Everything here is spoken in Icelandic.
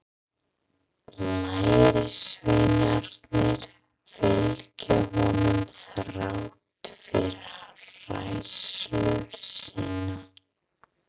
Lærisveinarnir fylgja honum þrátt fyrir hræðslu sína.